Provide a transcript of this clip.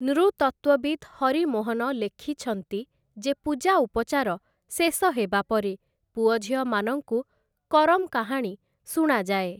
ନୃତତ୍ତ୍ଵବିତ୍ ହରି ମୋହନ ଲେଖିଛନ୍ତି, ଯେ ପୂଜା ଉପଚାର ଶେଷ ହେବା ପରେ ପୁଅଝିଅମାନଙ୍କୁ କରମ୍‌ କାହାଣୀ ଶୁଣାଯାଏ ।